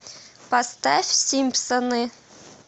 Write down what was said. поставь симпсоны